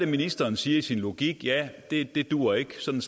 ministeren siger i sin logik at ja det det duer ikke sådan